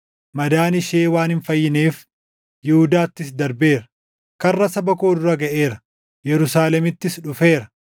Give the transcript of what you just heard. Madaan ishee waan hin fayyineef, Yihuudaattis darbeera. Karra saba koo dura gaʼeera; Yerusaalemittis dhufeera.